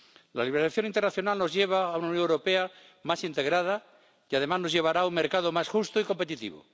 La liberalización internacional nos lleva a una Unión Europea más integrada y, además, nos llevará a un mercado más justo y competitivo.